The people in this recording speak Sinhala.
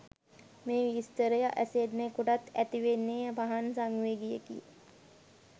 මේ විස්තරය අසෙන්නෙකුට ඇතිවන්නේ පහන් සංවේගයකි.